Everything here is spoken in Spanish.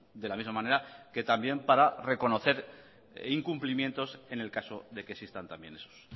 de la misma manera que también para reconocer incumplimientos en el caso de que existan también esos